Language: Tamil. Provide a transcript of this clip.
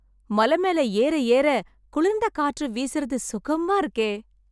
மலை மேல ஏற ஏற, குளிர்ந்த காற்று வீசுறது சுகமா இருக்கே...